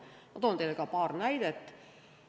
Ma toon teile paar näidet.